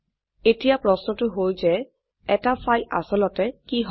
এতিয়া প্রশ্নটো হল যে এটি ফাইল আসলতে কি হয়